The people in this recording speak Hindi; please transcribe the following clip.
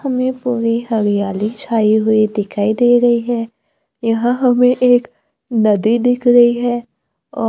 हमें पूरी हरियाली छाई हुई दिखाई दे रही है यहां हमें एक नदी दिख रही है औ--